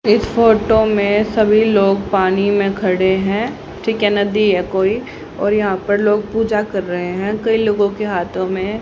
इस फोटो में सभी लोग पानी में खड़े हैं ठीक है नदी है कोई और यहां पर लोग पूजा कर रहे हैं कई लोगों के हाथों में--